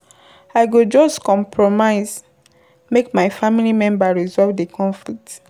I go just compromise make my family members resolve di conflict.